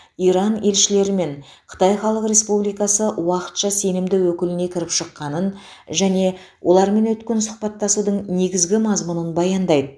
иран елшілері мен қытай халық республикасы уақытша сенімді өкіліне кіріп шыққанын және олармен өткен сұхбаттасудың негізгі мазмұнын баяндайды